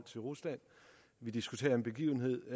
til rusland vi diskuterer en begivenhed